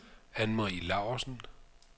Anne-Marie Laursen